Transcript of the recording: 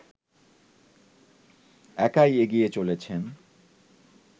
একাই এগিয়ে চলেছেন